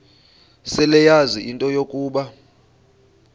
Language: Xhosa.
seleyazi into yokuba